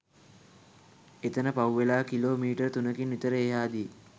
එතන පහුවෙලා kilometre තුනකින් විතර එහාදී